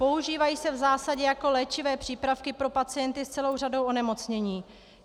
Používají se v zásadě jako léčivé přípravky pro pacienty s celou řadou onemocnění.